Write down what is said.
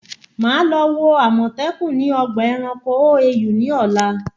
Màá lọ wo àmọ̀tẹ́kùn ni ọgbà ẹranko OAU ní ọ̀la